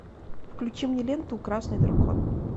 включи мне ленту красный дракон